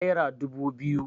naira dubu biyu